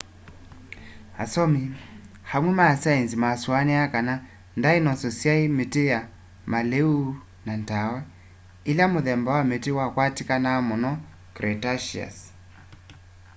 asomi amwe ma sainzi masuaniaa kana ndainoso syaie miti ya maliu na ndawa ila muthemba wa miti wakwatikanaa muno cretaceous